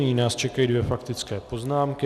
Nyní nás čekají dvě faktické poznámky.